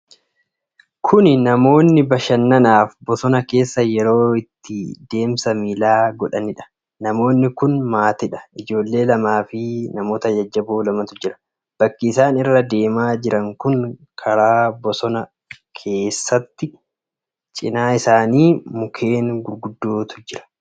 Kun namoonni bashannanaaf bosona keessa yeroo itti deemsa miilaa godhanidha. Namooti kun maatiidha. Ijoollee lamaa fi namoota jajjaboo lamatu jira. Bakki isaan irra deemaa jiran kun karaa bosona keessaati. Cinaa isaanii mukkeen gurguddootu jira.